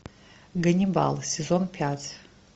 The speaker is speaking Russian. ганнибал сезон пять